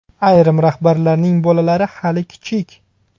Ayrim rahbarlarning bolalari hali kichik.